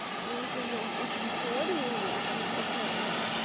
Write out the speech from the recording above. ну в основном учим теорию и это ужасно